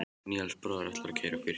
Níels bróðir ætlar að keyra okkur.